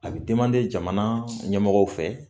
A bɛ jamana ɲɛmɔgɔw fɛ